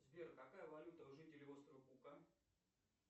сбер какая валюта у жителей острова кука